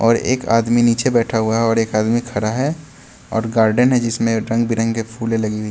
और एक आदमी नीचे बैठा हुआ है और एक आदमी खड़ा है और गार्डन है जिसमें रंग बेरंगे फूले लगी--